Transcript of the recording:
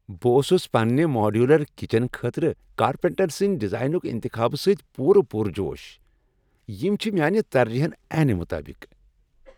بہٕ اوسُس پننہ ماڈیولر کچن خٲطرٕ کارپینٹر سٕندۍ ڈیزائنک انتخابہ سۭتۍ پورٕ پرجوش۔ یم چھ میانہ ترجیحن عین مطابق۔